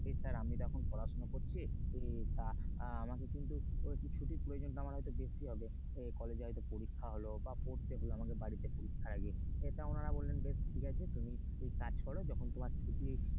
যে sir আমি তো এখন পড়াশোনা করছি, তা আমাকে কিন্তু ছুটির প্রয়োজন টা হয়তো আমার বেশি হবে কলেজে হয়তো পরীক্ষা হল বা পড়তে হল আমাকে বাড়িতে পরীক্ষার আগে তো উনারা বললেন বেশ ঠিক আছে তুমি কাজ করো যখন তখন তোমার ছুটি,